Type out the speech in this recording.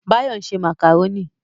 Báyọ̀ ń ṣe màkàrónì